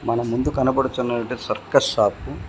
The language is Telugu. మన ముందు కనపడుచున్నవటే సర్కస్ షాపు .